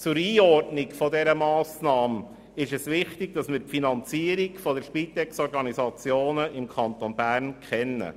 Zur Einordnung dieser Massnahme ist es wichtig, die Finanzierung der Spitexorganisationen im Kanton Bern zu kennen.